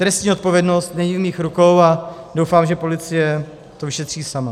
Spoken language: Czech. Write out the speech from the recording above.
Trestní odpovědnost není v mých rukou a doufám, že policie to vyšetří sama.